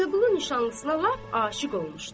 Vəliqulu nişanlısına lap aşiq olmuşdu.